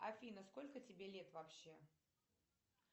афина сколько тебе лет вообще